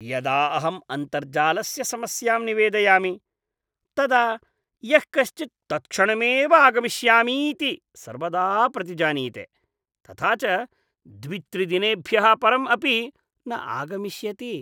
यदा अहम् अन्तर्जालस्य समस्यां निवेदयामि तदा यः कश्चित् तत्क्षणमेव आगमिष्यामीति सर्वदा प्रतिजानीते, तथा च द्वित्रिदेनेभ्यः परम् अपि न आगमिष्यति।